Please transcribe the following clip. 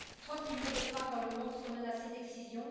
Trente millions de femmes dans le monde sont menacées d'excision.